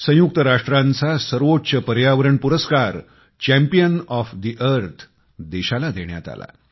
संयुक्त राष्ट्राचा सर्वोच्च पर्यावरण पुरस्कार चॅम्पियन ओएफ ठे अर्थ देशाला देण्यात आला